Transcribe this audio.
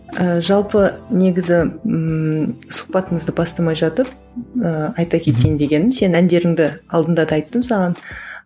ііі жалпы негізі ммм сұхбатымызды бастамай жатып ыыы айта кетейін дегенім сенің әндеріңді алдында да айттым саған